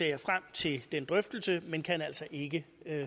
jeg frem til den drøftelse men kan altså ikke